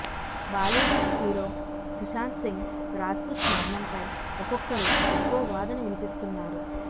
Bollywood hero Sushant Singh Rajput మరణంపై ఒక్కొక్కరు ఒక్కో వాదన వినిపిస్తున్నారు